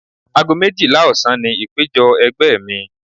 Ago méjìlá ọ̀sán ni ìpéjọ ẹgbẹ́ mi.